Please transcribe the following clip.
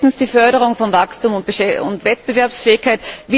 Drittens die Förderung von Wachstum und Wettbewerbsfähigkeit.